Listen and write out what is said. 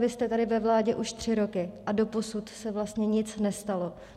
Vy jste tady ve vládě už tři roky a doposud se vlastně nic nestalo.